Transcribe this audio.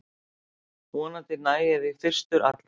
Vonandi næ ég því fyrstur allra